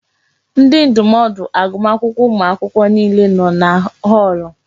Ndi ndụmọdụ agụmakwụkwọ ụmụ akwụkwọ niile nọ na họọlụ.